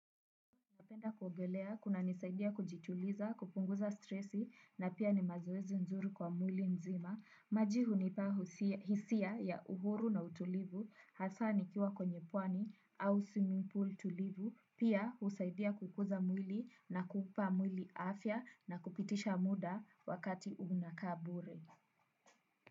Napenda kuogelea, kuna nisaidia kujituliza, kupunguza stresi na pia ni mazoezi nzuri kwa mwili nzima. Maji hunipa hisia ya uhuru na utulivu, hasa nikiwa kwenye pwani au simipul tulivu, pia husaidia kukuza mwili na kupa mwili afya na kupitisha muda wakati unakaa bure.